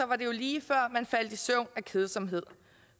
var det jo lige før man faldt i søvn af kedsomhed